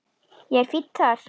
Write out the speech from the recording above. Ég er fínn þar.